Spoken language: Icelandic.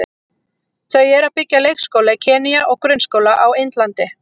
Þau eru að byggja leikskóla í Kenýa og grunnskóla á Indlandi.